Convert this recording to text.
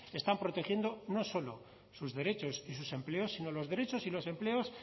están protegiendo no solo sus derechos y sus empleos sino los derechos y los empleos